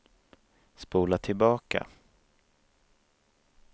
spola tillbaka